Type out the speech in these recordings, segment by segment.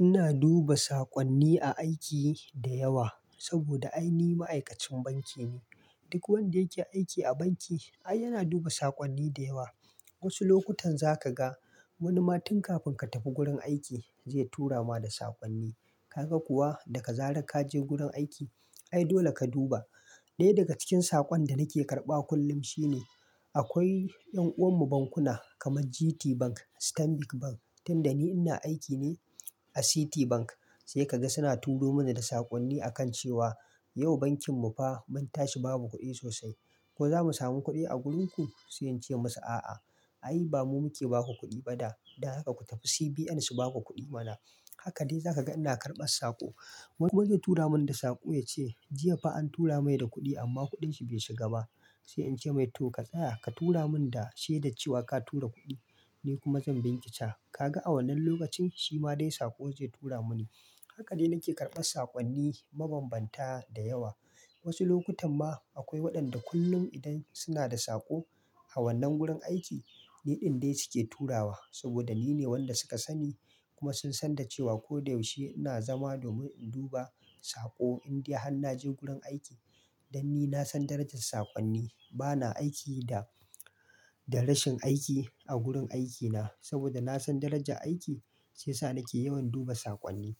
Ina duba saƙonni a aiki da yawa saboda ai ni ma'aikacin banki ne. Duk wanda yake aiki a banki, ai yana duba saƙonni da yawa. Wasu lokutan za ka ga wani ma tunkafin ka tafi gurin aiki zai tura ma da saƙonni. Kaga kuwa daga zarar ka je gurin aiki, ai dole ka duba. Dai daga cikin saƙon da nake karɓa kullum shine akwai ƴan'uwan mu bankuna kamar GTBank, Stanbic Bank, tunda ni ina aiki ne a Citibank sai kaga suna turo mana da saƙonni akan cewa yau bankin mu fa mun tashi babu kuɗi sosai. Ko zamu samu kuɗi a gurin ku? Sai in ce musu a'a, ai ba mu muke ba ku kuɗi ba da. Dan haka ku tafi CBN su ba ku kuɗi mana. Haka dai za ka ga ina karɓan saƙo. Wani zai tura mun da saƙo ya ce jiya fa an tura mai da kuɗi amma kuɗin shi bai shiga ba. Sai in ce mai to ka tsaya, ka tura mun da shaidar cewa ka tura kuɗin ni kuma zan bincika. Kaga a wannan lokacin shi ma dai saƙo zai tura mani. Haka dai nake karɓan saƙonni mabanbanta da yawa. Wasu lokutan ma akwai waɗanda kullum idan suna da saƙo a wannan gurin aiki, niɗin dai su ke turawa saboda nine wanda suka sani kuma sun san da cewa ko da yaushe ina zama domin in duba saƙo indai har naje gurin aiki. Dan ni na san darajar saƙonni. Bana aiki da, da rashin aiki a gurin aikina saboda na san darajar aiki sai sa nake yawan duba saƙonni.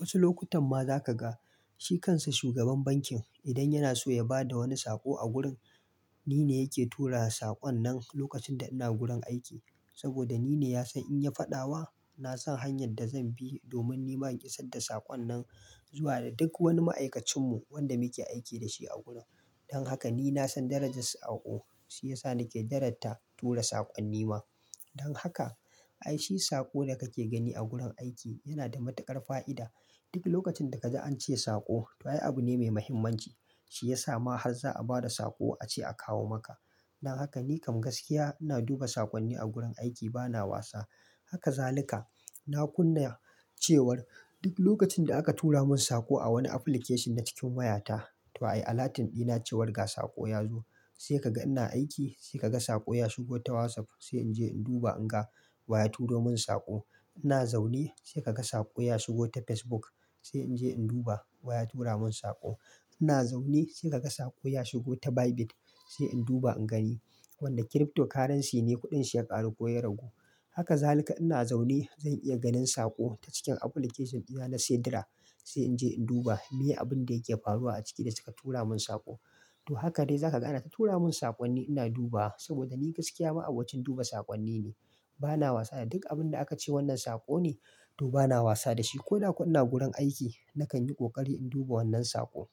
Wasu lokutan ma za ka ga shi kansa shugaban bankin idan yana so ya ba da wani saƙo a gurin, nine yake turawa saƙon nan lokacin da ina gurin aiki. Saboda nine ya san in ya faɗa wa, na san hanyar da zan bi domin nima in iya sadda saƙon nan zuwa da duk wani ma'aikacin mu wanda muke aiki da shi a gurin. Dan haka ni na san darajar saƙo shiyasa nake daratta tura saƙonni ma. Dan haka ai shi saƙo da kake gani a gurin aiki yana da matuƙar fa'ida. Duk lokacin da kaji an ce saƙo, to ai abu ne mai muhimmanci. Shi ya sa ma har za a ba da saƙo a ce a kawo maka. Dan haka ni kam gaskiya ina duba saƙonni a gurin aiki bana wasa. Haka zaluka na kunna cewar duk lokacin da aka tura mun saƙo a wani application na cikin wayata, to ai alatin dina cewar ga saƙo ya zo. Sai ka ga ina aiki, sai kaga saƙo ya shigo ta WhatsApp sai in je in duba in ga wa ya turo mun saƙo. Ina zaune sai kaga saƙo ya shigo ta Facebook sai in je in duba wa ya tura mun saƙo. Ina zaune sai kaga saƙo ya shigo ta Bybit sai in duba in gani wanda cryptocurrency ne kuɗin shi ya ƙaru ko ya ragu. Haka zaluka ina zaune zan iya ganin saƙo ta cikin application dina na sidra sai in je in duba me abun da yake faruwa a ciki da suka tura mun saƙo. To haka dai zaka ga anata tura mun saƙonni ina duba wa saboda ni gaskiya ma abokin duba saƙonni ne. Bana wasa da duk abun da aka ce wannan saƙo ne, to bana wasa da shi ko da kuwa ina gurin aiki nakan yi ƙoƙari in duba wannan saƙo.